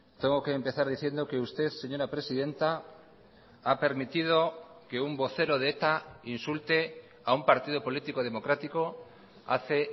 tengo que empezar diciendo que usted señora presidenta ha permitido que un vocero de eta insulte a un partido político democrático hace